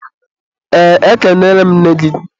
eee, ekenere m nne gị.